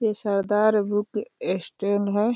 ये Sardar book stand है।